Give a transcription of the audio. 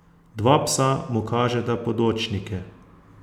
Dva psa mu kažeta podočnike.